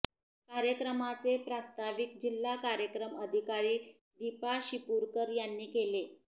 कार्यक्रमाचे प्रास्ताविक जिल्हा कार्यक्रम अधिकारी दीपा शिपूरकर यांनी केले